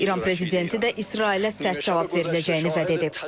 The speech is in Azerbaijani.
İran prezidenti də İsrailə sərt cavab veriləcəyini vəd edib.